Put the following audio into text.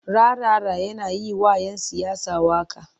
Rarara yana yi wa'yan siyasa waƙa.